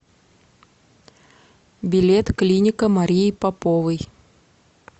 билет клиника марии поповой